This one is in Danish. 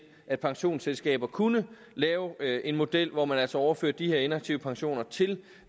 at pensionsselskaber kunne lave en model hvor man altså overfører de her inaktive pensioner til